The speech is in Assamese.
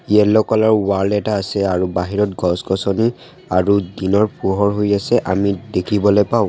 য়েলো কালাৰ ৱাল এটা আছে আৰু বাহিৰত গছ-গছনি আৰু দিনৰ পোহৰ হৈ আছে আমি দেখিবলৈ পাওঁ।